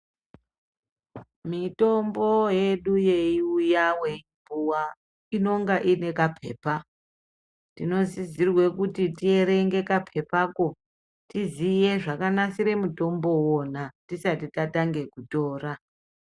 Mitombo yedu yeiuya weipuwa inonga ine kapepa. Tinosisirwa kuti tierenge kapepako tiziye zvakanasire mutombo imwona tisati tatange kutora.